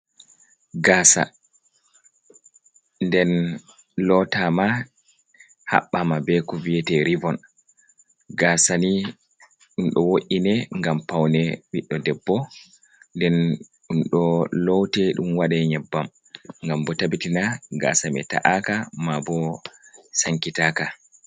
Gaasa nden lootaama haɓɓaama be ko wi'ete revon. Gaasani ɗum ɗo wo’’ine ,ngam pawne biɗdo debbo ,nden ɗum ɗo loote, ɗum waɗe nyebbam, ngam bo tabbitina gaasa may ta’aaka mabo sankitaaka.